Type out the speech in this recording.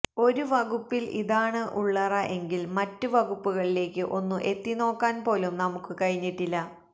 ഒരുവകുപ്പില് ഇതാണ് ഉള്ളറ എങ്കില് മറ്റ് വകുപ്പുകളിലേക്ക് ഒന്ന് എത്തിനോക്കാന്പോലും നമുക്ക് കഴിഞ്ഞിട്ടില്ല